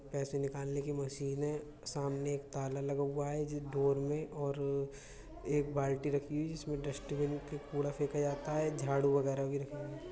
पैसे निकालने की मशीन है। सामने एक ताला लगा हुआ है जिस डोर में और एक बाल्टी रखी हुई है जिसमें डस्टबिन का कूड़ा फेंका जाता है। झाड़ू वगैरह भी रखी हैं।